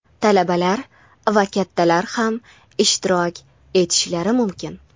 talabalar va kattalar ham ishtirok etishlari mumkin.